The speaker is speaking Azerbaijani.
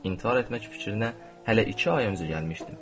İntihar etmək fikrinə hələ iki ay öncə gəlmişdim.